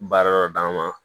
Baara dɔ d'an ma